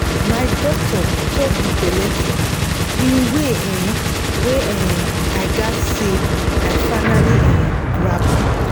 my doctor talk the belle thing in way um wey um i gatz say i finally um grab am.